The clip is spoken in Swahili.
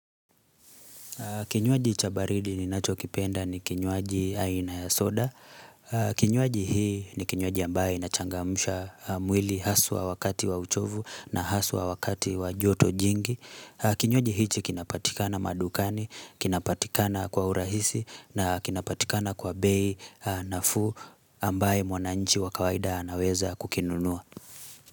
Kinywaji cha baridi ninacho kipenda ni kinywaji aina ya soda. Kinywaji hii ni kinywaji ambaye inachangamsha mwili haswa wakati wa uchovu na haswa wakati wa joto jingi. Kinywaji hichi kinapatikana madukani, kinapatikana kwa urahisi na kinapatikana kwa bei nafuu ambaye mwananchi wa kawaida anaweza kukinunua.